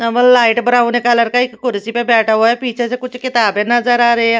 Naval light brown colour का एक कुर्सी पर बैठा हुआ है पीछे से कुछ किताबें नजर आ रही हैं।